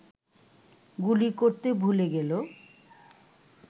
গুলি করতে ভুলে গেল